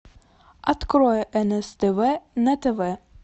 открой нств на тв